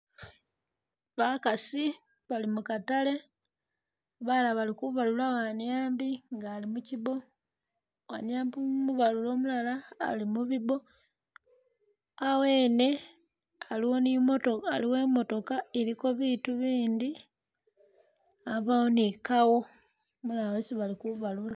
Bakaasi bali mu kataale balala bali kubalula waniambi nga ali mukiibo, waniambi umubalule umulala ali mu bibo. Awo yene aliyo ni imoto aliwo ni i'motoka iliko biitu bindi abawo ni kawo yesi bali kubalula.